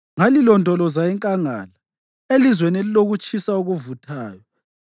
Ngalilondoloza enkangala, elizweni elilokutshisa okuvuthayo.